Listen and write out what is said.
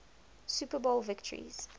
super bowl victories